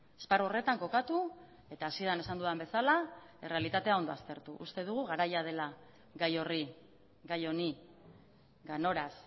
esparru horretan kokatu eta hasieran esan dudan bezala errealitatea ondo aztertu uste dugu garaia dela gai horri gai honi ganoraz